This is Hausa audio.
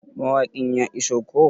Mawaƙin ya iso koh?